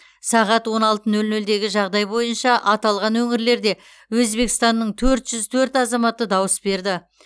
сағат он алты нөл нөлдегі жағдай бойынша аталған өңірлерде өзбекстанның төрт жүз төрт азаматы дауыс берді